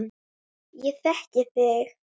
Ég þekki þig